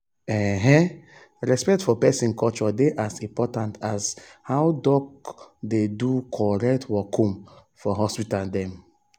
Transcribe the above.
ehnnn respect for peson culture dey as important as how doc dey do correct workum for hospital dem.